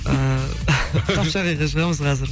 ііі қапшағайға шығамыз қазір